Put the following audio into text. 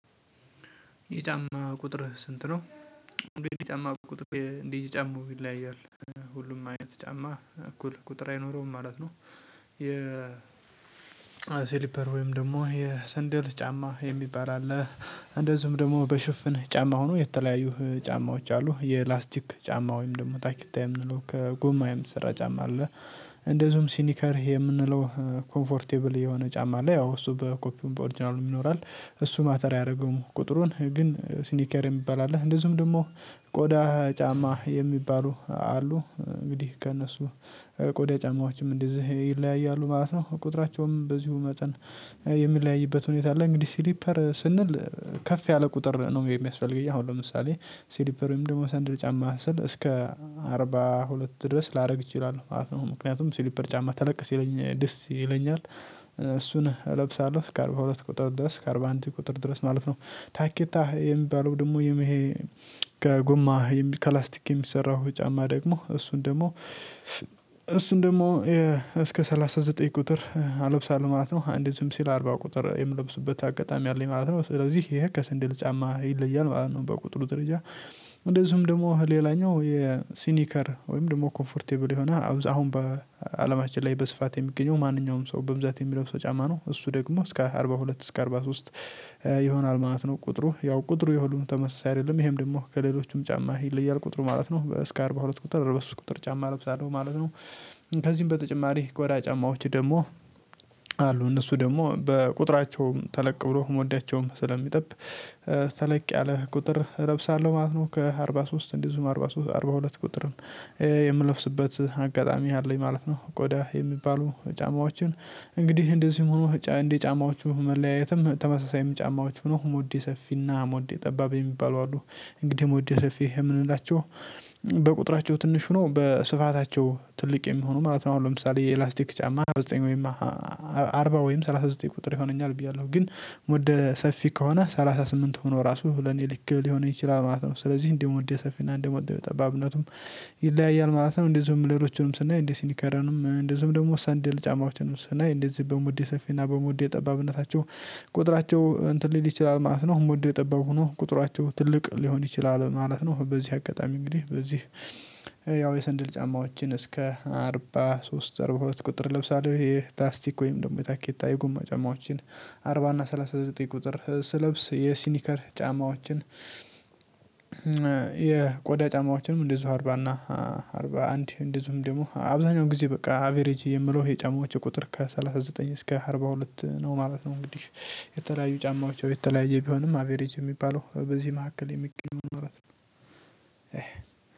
የጫማ ቁጥርህ ስንት ነው? እንግዲህ የጫማ ቁጥር እንደየ ጫማው ይለያያል ሁሉም አይነት ጫማ እኩል ቁጥር አይኖረውም ማለት ነው። የ ሲሊፐር ወይም ደግሞ የሰንደል ጫማ የሚባል አለ። እንደዚሁም ደግሞ በሽፍን ጫማ ሆኖ የተለያዩ ጫማዎች አሉ የላስቲክ ጫማ ወይም ደግሞ ታኪታ የምንለው ከጎማ የሚሰራ ጫማ አለ። እንደዚሁም ሲኒከር የምነውለው ኮምፎርቴብል የሆነ ጫማ አለ ያው እሱ በኮፒውም በኦርጅናሉም ይኖራል እሱ ማተር አያረገውም ቁጥሩን ግን ሲኒከር የሚባል አለ እንደዚሁም ደግሞ። ቆዳ ጫማ የሚባሉ አሉ እንግዲህ ከእነሱ ቆዳ ጫማዎችም እንደዚህ ይለያያሉ ማለት ነው ቁጥራቸውም በዚሁ መጠን የሚለያይበት ሁኔታ አለ። እንግዲህ ሲሊፐር ስንል ከፍ ያለ ቁጥር ነው የሚያስፈልገኝ አሁን ለምሳሌ ሲሊፐር ወይም ደግሞ ሰንድል ጫማ ስል እስከ አርባ ሁለት ድረስ ላደርግ ይችላል ማለት ነው ምክንያቱም ስሊፐር ጫማ ተለቅ ሲሰኝ ደስ ይለኛል። እሱን እለብሳለሁ ከአርባ ሁለት ቁጥር ድረስ ከአርባ አንድ ቁጥር ድረስ ማለት ነው። ታኬታ የሚባለው ደግሞ ይሄ ከጎማ ከላስቲክ የሚሰራው ጫማ ደግሞ እሱን ደግሞ እሱን ደግሞ እሱን ደግሞ እስከ ሰላሳ ዘጠኝ ቁጥር አለብሳለሁ ማለት ነው። አንደዚህም ሲል አርባ ቁጥር የምለብስበት አጋጣሚ አለኝ ማለት ነው። ስለዚህ ይሄ ከሰንድል ጫማ ይለያል ማለት ነው በቁጥሩ ደረጃ። እንደዚሁም ደግሞ ሌላኛው የሲኒከር ደግሞ ኮምፈርቴብል የሆነ አሁን በአለማችን ላይ በስፋት የሚገኘው ማንኛውም ሰው በብዛት የሚለብሰው ጫማ ነው እሱ ደግሞ እስከ አርባ ሁለት እስከ አርባ ሶስት ይሆናል ማለት ነው። ቁጥሩ ያው ቁጥሩ የሁሉም ተመሳሳይ አይደለም ይሄም ደግሞ ከሌሎቹም ጫማ ይለያል ቁጥሩ ማለት ነው እስከ አርባ ሁለት ቁጥር አርባሶስት ቁጥር ጫማ እለብሳለሁ ማለት ነው። ከዚህም በተጨማሪ ቆዳ ጫማዎች ደግሞ አሉ እነሱ ደግሞ በቁጥራቸውም ተለቅ ብሎ ሞዳቸውም ስለሚጠብ ተለቅ ያለ ቁጥር እለብሳለሁ ማለት ነው ከአርባ ሶስት እንደዚሁም አርባ ሶስት አርባ ሁለት ቁጥርም የምለብስበት አጋጣሚ አለኝ ማለት ነው። ቆዳ የሚባሉ ጫማዎችን እንግዲህ እንደዚሁም ሆኖ እንደ ጫማዎቹ መለያየትም ተመሳሳይ ጫማዎቹ ነው ሞዴ ሰፊና ሞዴ ጠባብ የሚባለው አሉ እንግዲህ ሞደ ሰፊ የምንላቸው በቁጥራቸው ትንሽ ሆኖ በስፋታቸው ትልቅ የሚሆኑ ማለት ነው። አሁን ለምሳሌ የላስቲክ ጫማ ሰላሳ ዘጠኝ ወይም አርባ ወይም ሰላሳ ዘጠኝ ቁጥር ይሆነኛል ብያለሁ ግን ሞደ ሰፊ ከሆነ ሰላሳ ስምንት ሆኖ ራሱ ለኔ ልክ ሊሆነኝ ይችላል ማለት ነው። ስለዚህ እንደ ሞደ ወደ ሰፊና እንደ ሞደ ጠባብነቱም ይለያያል ማለት ነው። እንደዚሁም ሌሎቹንም ስናይ እንደዚሁም ሲኒከራንም እንደዚሁም ደግሞ ሰንደል ጫማዎቹንም ስናይ እንደዚህ በሙደ ሰፊና በሙደ ጠባብነታቸው ቁጥራቸው እንትን ሊል ይችላል ማለት ነው ሞደ ጠባብ ሆኖ ቁጥራቸው ትልቅ ሊሆን ይችላል ማለት ነው። በዚህ አጋጣሚ እንግዲህ በዚህ ያው የሰንደል ጫማዎችን እስከ አርባ ሶስት አርባ ሁለት ቁጥር ለብሳለሁ ይሄ ታስቲክ ወይም ደግሞ የታኬታ የጎማ ጫማዎችን አርባ እና ሰላሳ ዘጠኝ ቁጥር ስለብስ የሲኒከር ጫማዎችን። የቆዳ ጫማዎችንም እንደዚሁ አርባ እና አርባ አንድ እንደዚሁም ደግሞ አብዛኛው ጊዜ በቃ አቬሬጅ የምለው የጫማዎቹ ቁጥር ከሰላሳ ዘጠኝ እስከ አርባ ሁለት ነው ማለት ነው። እንግዲህ የተለያዩ ጫማዎች የተለያየ ቢሆንም አቬሬጅ የሚባለው በዚህ መካከል የሚገኙ ነው።